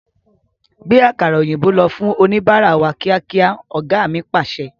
Gbe àkàrà òyìnbó lọ fún oníbárá wá kíákíá! Ọ̀gá mi Pàṣẹ.